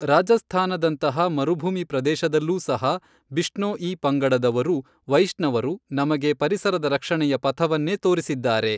ರಾಜಸ್ಥಾನದಂತಹ ಮರುಭೂಮಿ ಪ್ರದೇಶದಲ್ಲೂ ಸಹ ಬಿಷ್ಣೋಈ ಪಂಗಡದವರು ವೈಷ್ಣವರು ನಮಗೆ ಪರಿಸರದ ರಕ್ಷಣೆಯ ಪಥವನ್ನೇ ತೋರಿಸಿದ್ದಾರೆ.